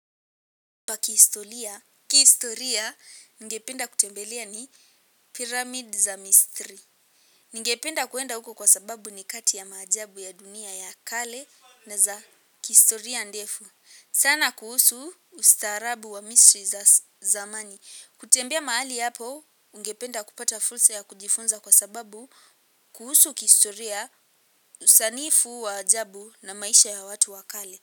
Pa kihistoria, kihistoria, ningependa kutembelea ni pyramid za misri. Ningependa kuenda huko kwa sababu ni kati ya maajabu ya dunia ya kale na za kihistoria ndefu. Sana kuhusu ustaarabu wa misri za zamani. Kutembea mahali hapo, ungependa kupata fursa ya kujifunza kwa sababu kuhusu kihistoria usanifu wa ajabu na maisha ya watu wa kale.